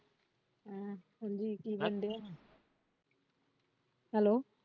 ਹਮ ਹਾਂਜੀ ਕੀ ਕਰਦੇ ਹੈ? hello